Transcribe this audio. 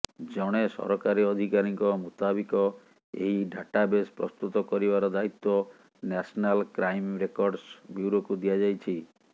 ଜଣେ ସରକାରୀ ଅଧିକାରୀଙ୍କ ମୁତାବିକ ଏହି ଡାଟାବେସ ପ୍ରସ୍ତୁତ କରିବାର ଦାୟିତ୍ୱ ନ୍ୟାସନାଲ କ୍ରାଇମ ରେକର୍ଡସ ବ୍ୟୁରୋକୁ ଦିଆଯାଇଛି